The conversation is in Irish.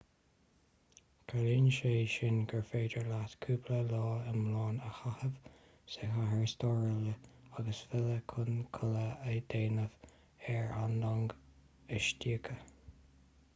ciallaíonn sé sin gur féidir leat cúpla lá iomlán a chaitheamh sa chathair stairiúil agus filleadh chun codladh a dhéanamh ar an long istoíche